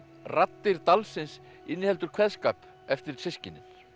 raddir dalsins inniheldur kveðskap eftir systkinin